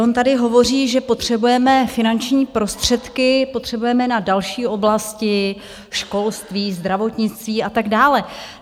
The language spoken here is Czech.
On tady hovoří, že potřebujeme finanční prostředky, potřebujeme na další oblasti školství, zdravotnictví a tak dále.